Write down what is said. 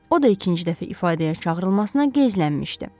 O da ikinci dəfə ifadəyə çağırılmasına gəzələnmişdi.